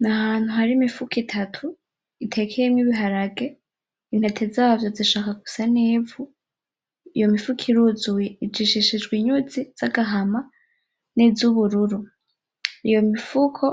Ni ahantu hari imifuko itatu itekeyemwo ibiharage , intete zavyo zishaka gusa n'ivu iyo mifuko iruzuye, ijishishijwe inyuzi z'agahama niz'ubururu , iyo mifuko